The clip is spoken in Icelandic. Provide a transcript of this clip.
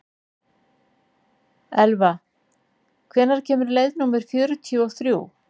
Elva, hvenær kemur leið númer fjörutíu og þrjú?